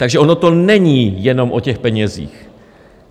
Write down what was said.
Takže ono to není jenom o těch penězích.